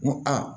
N ko aa